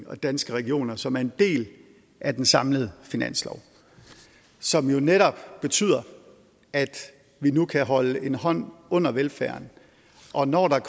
og danske regioner og som er en del af den samlede finanslov og som jo netop betyder at vi nu kan holde en hånd under velfærden og når der